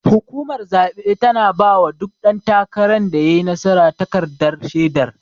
Hukumar zabe tana bawa duk dan takaran da yayi nasara takardar shedar.